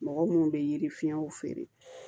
Mɔgɔ munnu bɛ yiri fiɲɛw feere